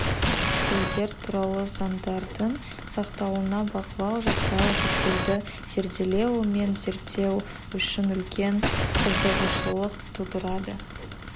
тілдер туралы заңдардың сақталуына бақылау жасау жүктелді зерделеу мен зерттеу үшін үлкен қызығушылық тудырады